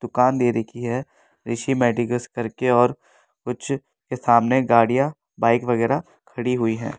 दुकान दे रखी है ऋषि मेडिकल्स करके और कुछ के सामने गाड़ियां बाइक वगैरह खड़ी हुई हैं।